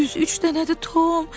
Düz üç dənədir, Tom!